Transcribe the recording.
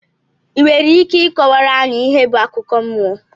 i nwere Ike ịkọwara anyị ihe bụ akụkọ mmụọ?